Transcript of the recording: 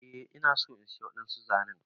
Eh ina so in siya wadansu zanen.